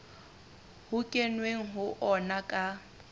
ho kenweng ho ona ka